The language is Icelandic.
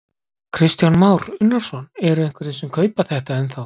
Kristján Már Unnarsson: Eru einhverjir sem kaupa þetta ennþá?